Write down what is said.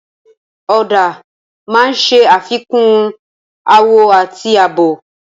Ọ̀dà máa ń ṣe àfikún àwọ̀ àti ààbò.